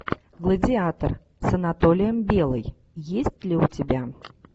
гладиатор с анатолием белый есть ли у тебя